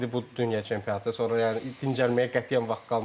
İndi bu dünya çempionatı, sonra yəni dincəlməyə qətiyyən vaxt qalmır.